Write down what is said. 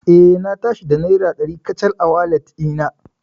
Eh, Na tashi da naira dari kacal a walet ɗina.